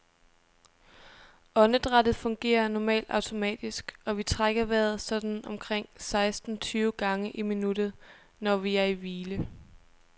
Åndedrættet fungerer normalt automatisk, og vi trækker vejret sådan omkring seksten tyve gange i minuttet, når vi er i hvile.